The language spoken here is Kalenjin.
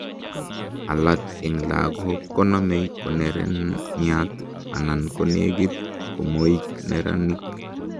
alak en lagok konomei koneraniat anan konegit komoik neranik